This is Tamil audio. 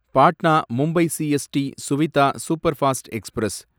Patna Mumbai CST Suvidha superfast express